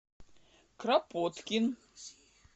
кропоткин